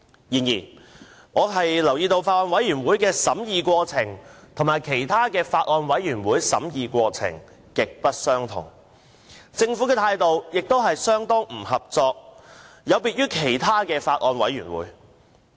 然而，我留意到，法案委員會的審議過程有別於其他法案委員會，而政府的態度亦相當不合作，有別於它在其他法案委員會的表現。